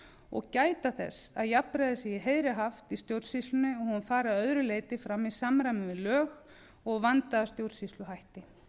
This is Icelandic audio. og gæta þess að jafnræði sé í heiðri haft í stjórnsýslunni og hún fari að öðru leyti fram í samræmi við lög og vandaða stjórnsýsluhætti